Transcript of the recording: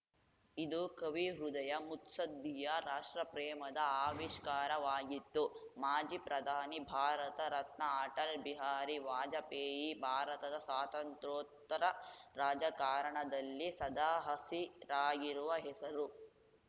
ಇದು ಕವಿ ಹೃದಯ ಮುತ್ಸದ್ಧಿಯ ರಾಷ್ಟ್ರಪ್ರೇಮದ ಆವಿಷ್ಕಾರವಾಗಿತ್ತು ಮಾಜಿ ಪ್ರಧಾನಿ ಭಾರತ ರತ್ನ ಅಟಲ್‌ ಬಿಹಾರಿ ವಾಜಪೇಯಿ ಭಾರತದ ಸ್ವಾತಂತ್ರ್ಯೋತ್ತರ ರಾಜಕಾರಣದಲ್ಲಿ ಸದಾ ಹಸಿರಾಗಿರುವ ಹೆಸರು